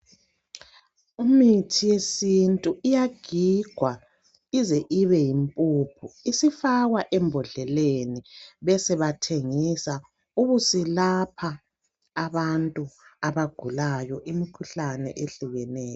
Imithi yesintu iyagigwa ize ibe yimpuphu, isifakwa embhodleleni besebathengisa ubuselapha abantu abagulayo imikhuhlane ehlukeneyo.